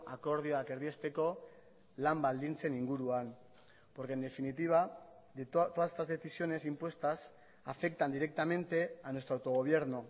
akordioak erdiesteko lan baldintzen inguruan porque en definitiva todas estas decisiones impuestas afectan directamente a nuestro autogobierno